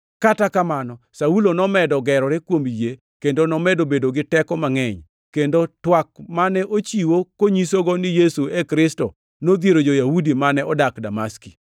Kata kamano, Saulo nomedo gerore kuom yie kendo nomedo bedo gi teko mangʼeny, kendo twak mane ochiwo konyisogo ni Yesu e Kristo nodhiero jo-Yahudi mane odak Damaski.